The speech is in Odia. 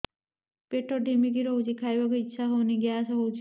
ପେଟ ଢିମିକି ରହୁଛି ଖାଇବାକୁ ଇଛା ହଉନି ଗ୍ୟାସ ହଉଚି